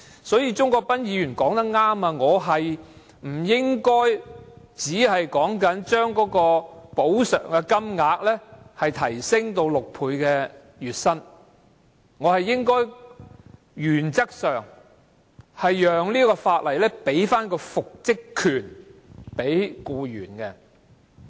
所以，鍾國斌議員說得對，我不應只提出將額外款項的款額上限提升至僱員月薪的6倍，更應讓《條例草案》賦予僱員復職權。